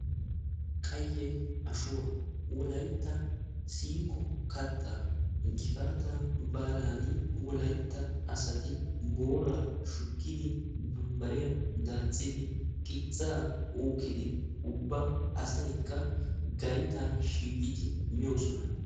Qayye ashuwaa wolaytta siiqo kattaa gifaataa baalaani wolaytta asati booraa shukkidi bambbariyaa daaxxidi qixaa uukkidi ubba asaykka gaytaa shiiqidi moosona.